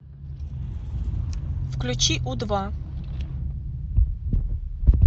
включи у два